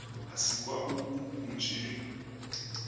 asikwa bobu bunje